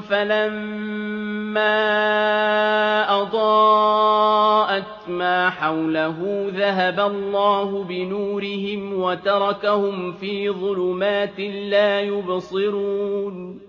فَلَمَّا أَضَاءَتْ مَا حَوْلَهُ ذَهَبَ اللَّهُ بِنُورِهِمْ وَتَرَكَهُمْ فِي ظُلُمَاتٍ لَّا يُبْصِرُونَ